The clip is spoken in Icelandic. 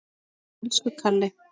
Elsku Kalli.